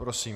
Prosím.